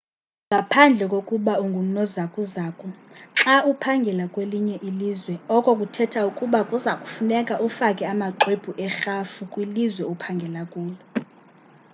ngaphandle kokuba ungunozakuzaku xa uphangela kwelinye ilizwe oko kuthetha ukuba kuza kufuneka ufake amaxwebhu erhafu kwilizwe ophangela kulo